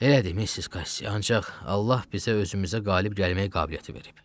Elədir Missis Qassi, ancaq Allah bizə özümüzə qalib gəlmək qabiliyyəti verib.